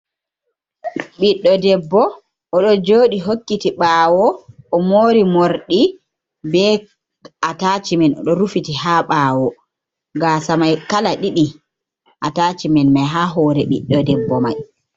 Ɓiɗɗo debbo oɗo joɗi hokkiti ɓawo, o mori mordi be ataciman o rufiti ha ɓawo, gasa mai kala ɗiɗi ataciman mai ha hore ɓiɗɗo debbo mai.